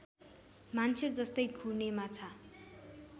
मान्छेजस्तै घुर्ने माछा